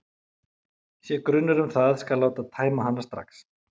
Sé grunur um það skal láta tæma hana strax.